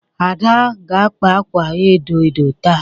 Ada ga-akpa akwa edo edo taa